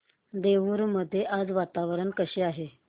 देऊर मध्ये आज वातावरण कसे आहे